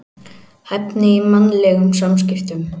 Hæfni í mannlegum samskiptum.